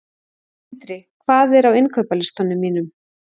Tindri, hvað er á innkaupalistanum mínum?